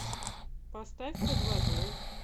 поставь под водой